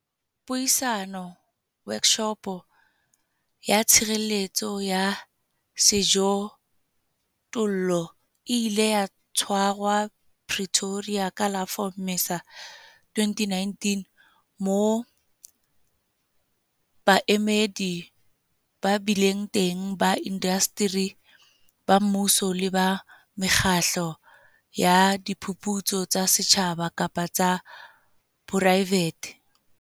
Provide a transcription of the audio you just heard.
Puisano, Workshopo, ya Tshireletso ya Sejothollo e ile ya tshwarwa Pretoria ka la 4 Mmesa 2019 moo baemedi ba bileng teng ba indasteri, ba mmuso le ba mekgatlo ya diphuputso tsa setjhaba kapa tsa poraevete.